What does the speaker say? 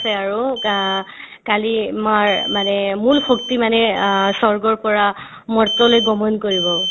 আছে আৰু কা কালী মাৰ মানে মূল শক্তি মানে আ স্বৰ্গৰ পৰা মৰ্ত্যলে গমন কৰিব